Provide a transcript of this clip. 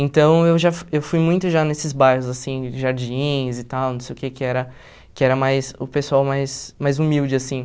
Então, eu já eu fui muito já nesses bairros, assim, Jardins e tal, não sei o que, que era que era mais o pessoal mais mais humilde, assim.